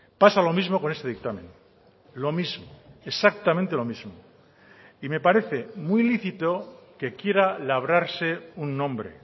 pasa lo mismo con este dictamen lo mismo exactamente lo mismo y me parece muy lícito que quiera labrarse un nombre